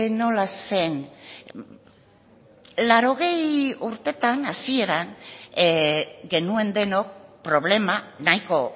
nola zen laurogei urtetan hasieran genuen denok problema nahiko